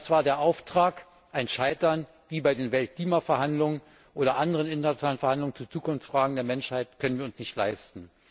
Das war der Auftrag. Ein Scheitern wie bei den Weltklimaverhandlungen oder anderen internationalen Verhandlungen zu Zukunftsfragen der Menschheit können wir uns nicht leisten.